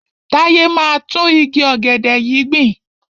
Táyé máa gbin tún igi ọ̀gẹ̀dẹ̀ yìí gbìn.